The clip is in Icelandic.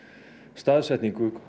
staðsetningu